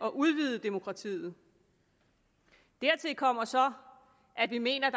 at udvide demokratiet dertil kommer så at vi mener at